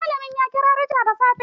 Malamin ya kira rejista da safe.